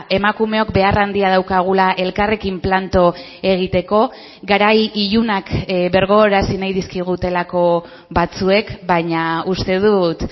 emakumeok behar handia daukagula elkarrekin planto egiteko garai ilunak birgogorazi nahi dizkigutelako batzuek baina uste dut